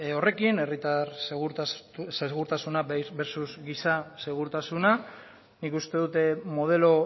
horrekin herritar segurtasuna versus giza segurtasuna nik uste dut modelo